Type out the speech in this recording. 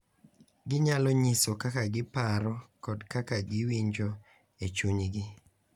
Ginyalo nyiso kaka giparo kod kaka giwinjo e chunygi .